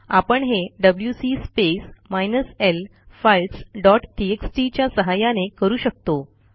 आपण हे W C space minus L files dot TXT च्या सहाय्याने करू शकतो